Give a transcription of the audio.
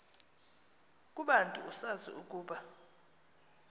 kubantu usazi ukuba